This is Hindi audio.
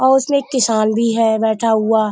औ उसमें किसान भी है बैठा हुआ।